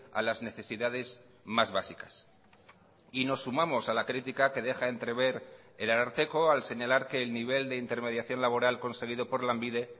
a las necesidades más básicas y nos sumamos a la crítica que deja entrever el ararteko al señalar que el nivel de intermediación laboral conseguido por lanbide